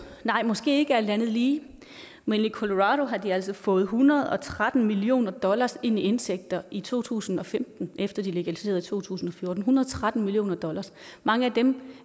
nej måske ikke alt andet lige men i colorado har de altså fået en hundrede og tretten million dollar ind i indtægter i to tusind og femten efter de legaliserede i to tusind og fjorten en hundrede og tretten million dollar mange af dem